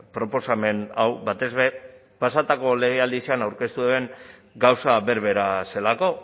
proposamen hau batez ere pasatako legealdian aurkeztu daben gauza berbera zelako